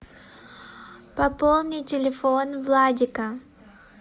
пополни телефон владика